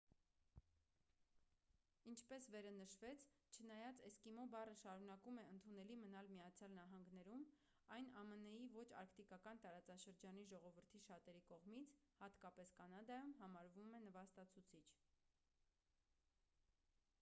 ինչպես վերը նշվեց չնայած էսկիմո բառը շարունակում է ընդունելի մնալ միացյալ նահանգներում այն ամն-ի ոչ արկտիկական տարածաշրջանի ժողովրդի շատերի կողմից հատկապես կանադայում համարվում է նվաստացուցիչ